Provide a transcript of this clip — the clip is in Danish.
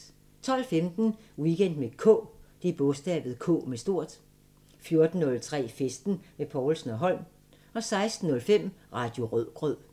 12:15: Weekend med K 14:03: Festen med Povlsen & Holm 16:05: Radio Rødgrød